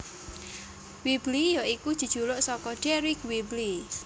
Whibley ya iku jejuluk saka Deryck Whibley